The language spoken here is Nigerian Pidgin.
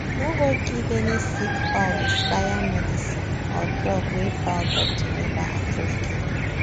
no go give any sick fowl expired medicine or drug wey fowl doctor never approve give you